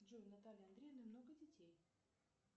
джой у натальи андреевны много детей